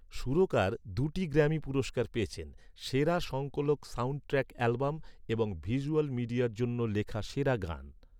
সুরকার দুটি গ্র্যামি পুরস্কার পেয়েছেন, সেরা সংকলন সাউন্ডট্র্যাক অ্যালবাম এবং ভিজ্যুয়াল মিডিয়ার জন্য লেখা সেরা গান।